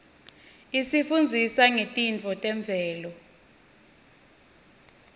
isifundzisa ngetintfo temvelo